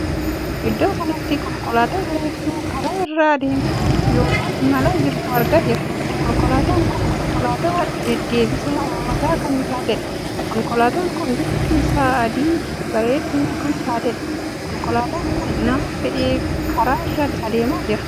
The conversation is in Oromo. Iddoo kanatti konkolaataa bareedduu Kara irra adeemaa ykn ilmalaa jirtu arga jirra. konkolaataan kun konkolaataa deddeebisa uummataa kan taateedha. konkolaataan kun bifti isaa adii bareedduu kan taateedha. konkolaataan kun nama fe'ee karaa irra adeemaa jira.